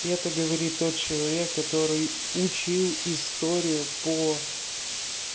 и это говорит тот человек который учил историю по